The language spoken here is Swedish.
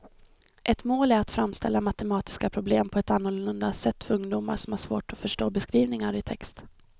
Ett mål är att framställa matematiska problem på ett annorlunda sätt för ungdomar som har svårt att förstå beskrivningar i text.